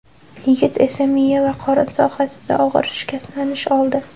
Yigit esa miya va qorin sohasida og‘ir shikastlanish oldi.